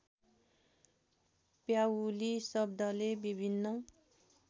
प्याउली शब्दले विभिन्न